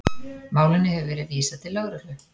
Málinu hefur verið vísað til lögreglu